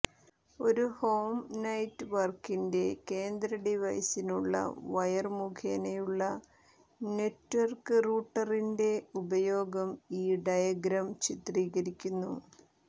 ഒരു ഹോം നെറ്റ് വർക്കിന്റെ കേന്ദ്ര ഡിവൈസിനുള്ള വയർ മുഖേനയുള്ള നെറ്റ്വർക്ക് റൂട്ടറിന്റെ ഉപയോഗം ഈ ഡയഗ്രം ചിത്രീകരിക്കുന്നു